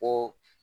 Ko